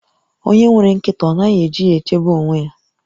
Onye nwere nkịta ọ naghị eji ya echebe onwe ya?